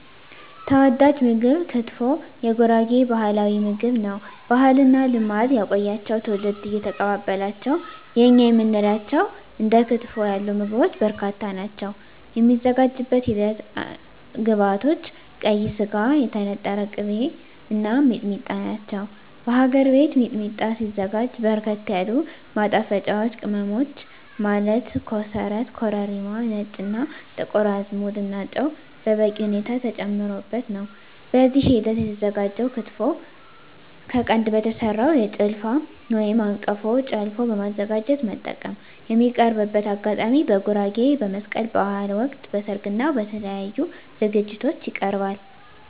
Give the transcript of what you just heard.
ተወዳጅ ምግብ ክትፎ የጉራጌ ባህላዊ ምግብ ነው። ባህልና ልማድ ያቆያቸው ትውልድ እየተቀባበላቸው የእኛ የምንላቸው እንደ ክትፎ ያሉ ምግቦች በርካታ ናቸው። የሚዘጋጅበት ሂደት ግብዐቶች ቀይ ስጋ, የተነጠረ ቅቤ , እና ሚጥሚጣ ናቸው። በሀገር ቤት ሚጥሚጣ ሲዘጋጅ በርከት ያሉ ማጣፈጫወች ቅመሞች ማለት ኮሰረት , ኮረሪማ , ነጭ እና ጥቁር አዝሙድ እና ጨው በበቂ ሁኔታ ተጨምሮበት ነው። በዚህ ሂደት የተዘጋጀው ክትፎ ከቀንድ በተሰራው ጭልፋ/አንቀፎ ጨለፎ በማዘጋጀት መጠቀም። የሚቀርብበት አጋጣሚ በጉራጌ በመስቀል በሀል ወቅት, በሰርግ እና በተለያዪ ዝግጅቶች ይቀርባል።።